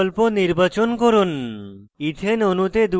double বিকল্প নির্বাচন করুন